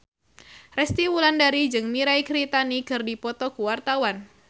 Resty Wulandari jeung Mirei Kiritani keur dipoto ku wartawan